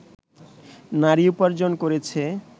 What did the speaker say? নারী উপার্জন করেছে